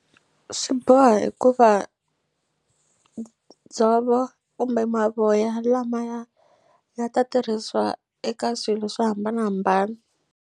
Swi boha hikuva dzovo kumbe mavoya lamaya ya ta tirhisiwa eka swilo swo hambanahambana.